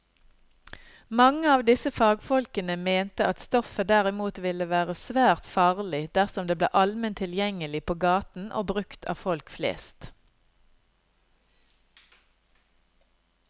Mange av disse fagfolkene mente at stoffet derimot ville være svært farlig dersom det ble allment tilgjengelig på gaten og brukt av folk flest.